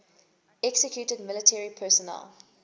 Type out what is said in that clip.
executed military personnel